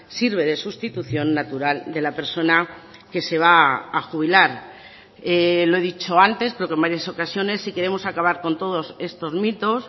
sirve de sustitución natural de la persona que se va a jubilar lo he dicho antes creo que en varias ocasiones si queremos acabar con todos estos mitos